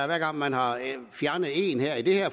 hver gang man har fjernet en i det her